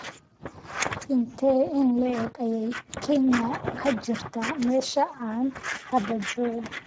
intee in le'eg ayay Kenya ka jirtaa meesha aan hadda joogo